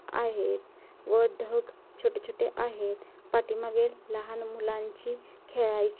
आहेत व ढग छोटे छोटे आहेत पाठीमागे लहान मुलांची खेळायची--